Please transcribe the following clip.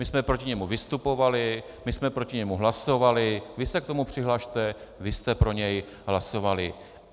My jsme proti němu vystupovali, my jsme proti němu hlasovali, vy se k tomu přihlaste, vy jste pro něj hlasovali.